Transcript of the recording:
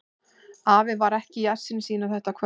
Afi var ekki í essinu sínu þetta kvöld.